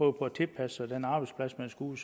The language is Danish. at tilpasse sig den arbejdsplads man skal ud